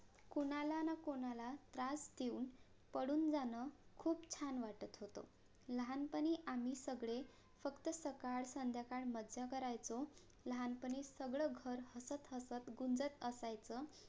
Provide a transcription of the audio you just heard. कोणालानकोणाला त्रास देऊन पळुणजाण खूप छान वाटत होत लहानपणी आम्ही सगळे फक्त सकाळ संध्याकाळ मज्जा करायचो लहानपणी सगळं घर हसत हसत गुंजत असायचं